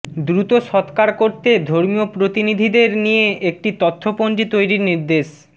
দ্রুত সৎকার করতে ধর্মীয় প্রতিনিধিদের নিয়ে একটি তথ্যপঞ্জি তৈরির নির্দেশ